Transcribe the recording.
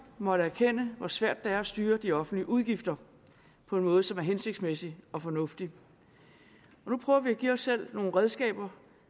måttet erkende hvor svært det er at styre de offentlige udgifter på en måde som er hensigtsmæssig og fornuftig nu prøver vi at give os selv nogle redskaber